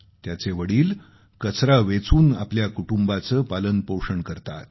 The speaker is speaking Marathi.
त्याचे वडील कचरा वेचून आपल्या कुटुंबाचं पालनपोषण करतात